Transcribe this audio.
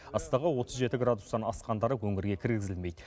ыстығы отыз жеті градустан асқандары өңірге кіргізілмейді